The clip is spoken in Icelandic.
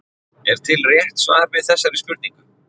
Er til rétt svar við þessari spurningu?